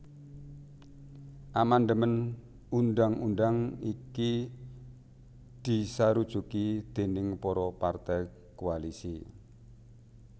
Amandemèn undhang undhang iki disarujuki déning para partai koalisi